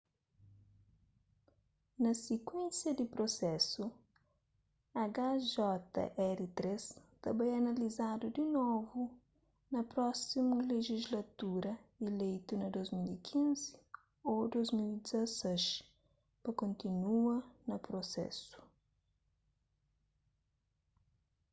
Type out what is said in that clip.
na sikuénsia di prusesu hjr-3 ta bai analizadu di novu pa prósimu lejislatura ileitu na 2015 ô 2016 pa kontinua na prusesu